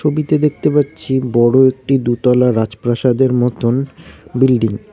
ছবিতে দেখতে পাচ্ছি বড় একটি দুতলা রাজপ্রাসাদের মতন বিল্ডিং ।